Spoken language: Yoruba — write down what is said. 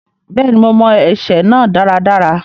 Bẹ́ẹ̀ni, mo mọ ẹsẹ náà dáradára.